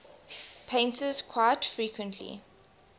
painters quite frequently